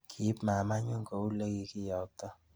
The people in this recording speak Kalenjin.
Kiib mamanyi kou le kikiyayta